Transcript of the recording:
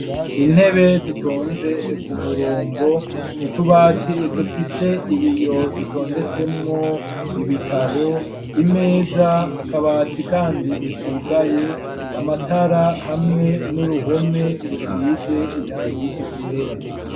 Intebe zitonze ku murongo utubati dufise ibiyo dutondetsemwo ibitabo imeza akabati kandi kugaye amatara hamwe n'uruhome rusize irangi ryera.